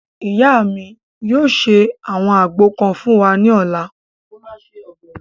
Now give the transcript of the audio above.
Ìyá mi yóò ṣe àwọn àgbo kan fún wa ní ọ̀la